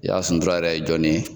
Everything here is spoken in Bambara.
Yaya Suntura yɛrɛ ye jɔnni ye?